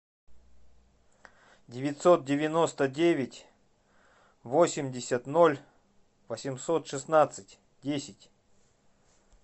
девятьсот девяносто девять восемьдесят ноль восемьсот шестнадцать десять